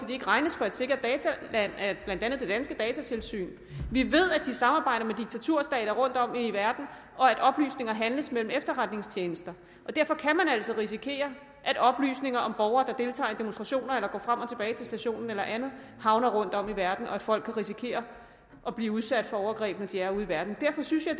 det ikke regnes for et sikkert dataland af blandt andet det danske datatilsyn vi ved at de samarbejder med diktaturstater rundtom i verden og at oplysninger handles mellem efterretningstjenester og derfor kan man altså risikere at oplysninger om borgere der deltager i demonstrationer eller går frem og tilbage til stationen eller andet havner rundtom i verden og at folk kan risikere at blive udsat for overgreb når de er ude i verden derfor synes jeg